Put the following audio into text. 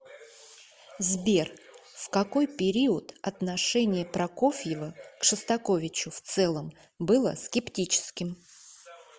сбер в какой период отношение прокофьева к шостаковичу в целом было скептическим